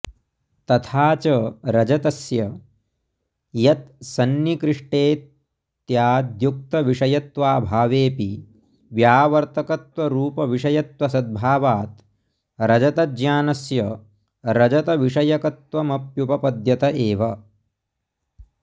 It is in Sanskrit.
तथा च रजतस्य यत्सन्निकृष्टेत्याद्युक्तविषयत्वाभावेऽपि व्यावर्तकत्वरुपविषयत्वसद्भावात् रजतज्ञानस्य रजतविषयकत्वमप्युपपद्यत एव